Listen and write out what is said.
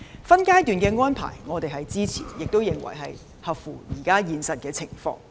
分階段的安排，我們是支持的，亦合乎現實情況。